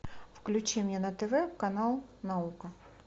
включи мне на тв канал наука